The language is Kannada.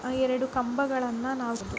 ಎರಡು ಕಂಬಗಳನ್ನ ನಾವು --